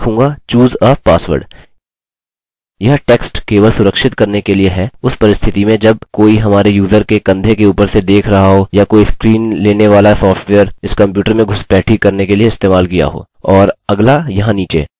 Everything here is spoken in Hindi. मैं इसे फिर से पेस्ट करूँगा और लिखूँगा choose a password यह टेक्स्ट केवल सुरक्षित करने के लिए है उस परिस्थिति में जब कोई हमारे यूज़र के कंधे के ऊपर से देख रहा हो या कोई स्क्रीन लेने वाला सॉफ्टवेयर इस कंप्यूटर में घुसपैठी करने के लिए इस्तेमाल किया हो